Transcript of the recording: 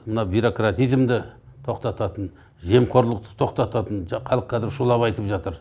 мына бюрократизмді тоқтататын жемқорлықты тоқтататын халық қазір шулап айтып жатыр